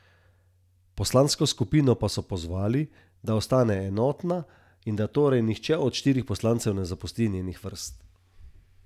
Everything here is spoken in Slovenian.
Umrl naj bi najmanj en človek, trije so ranjeni, pet pa naj bi jih še pogrešali.